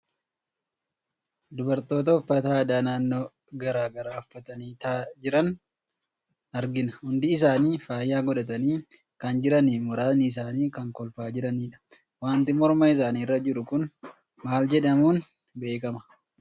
Dubartoota uffata aadaa naannoo gara garaa uffatanii taa'aa jiran argina. Hundi isaanii faaya godhatanii kan jiranii fi muraasni isaanii kan kolfaa jiranidha. Waanti morma isaanii irra jiru kun maal jedhamuun beekama?